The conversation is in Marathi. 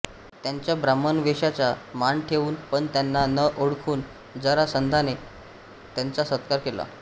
त्यांच्या ब्राह्मणवेषाचा मान ठेवून पण त्यांना न ओळखून जरासंधाने त्यांचा सत्कार केला